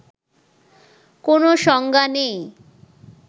কোনো সংজ্ঞা নেই